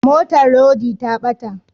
Motar rodi ta bata